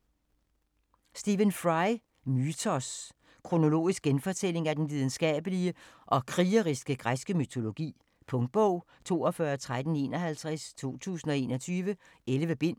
Fry, Stephen: Mythos Kronologisk genfortælling af den lidenskabelige og krigeriske græske mytologi. Punktbog 421351 2021. 11 bind.